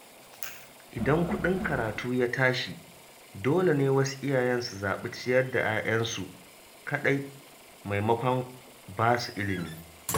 Idan kuɗin karatu ya tashi, dole ne wasu iyayen su zaɓi ciyar da 'ya'yansu kaɗai maimakon ba su ilimi